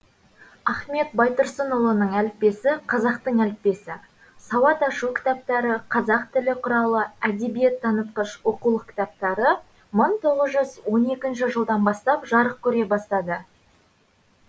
ахмет байтұрсынұлының әліппесі қазақтың әліппесі сауат ашу кітаптары қазақ тілі құралы әдебиет танытқыш оқулық кітаптары мың тоғыз жүз он екінші жылдан бастап жарық көре бастады